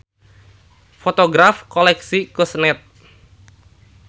Fotograf koleksi Kusnet.